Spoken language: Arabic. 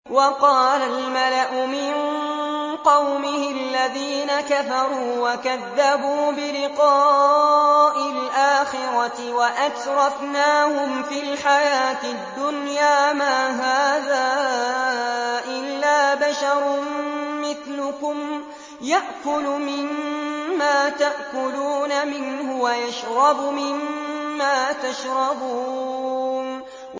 وَقَالَ الْمَلَأُ مِن قَوْمِهِ الَّذِينَ كَفَرُوا وَكَذَّبُوا بِلِقَاءِ الْآخِرَةِ وَأَتْرَفْنَاهُمْ فِي الْحَيَاةِ الدُّنْيَا مَا هَٰذَا إِلَّا بَشَرٌ مِّثْلُكُمْ يَأْكُلُ مِمَّا تَأْكُلُونَ مِنْهُ وَيَشْرَبُ مِمَّا تَشْرَبُونَ